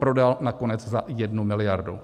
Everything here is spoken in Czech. Prodal nakonec za 1 miliardu.